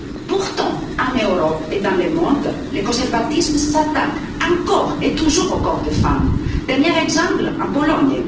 Pourtant, en Europe et dans le monde, les conservatismes s'attaquent encore et toujours au corps des femmes dernier exemple en Pologne.